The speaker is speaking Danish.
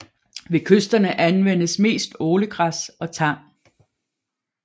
Ved kysterne anvendes mest ålegræs og tang